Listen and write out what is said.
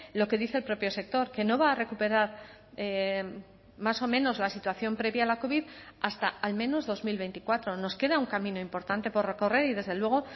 lo que dice el propio sector que no va a recuperar más o menos la situación previa a la covid hasta al menos dos mil veinticuatro nos queda un camino importante por recorrer y desde luego